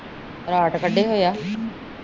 ਰਾਤ ਕੱਢੇ ਹੋਇਆ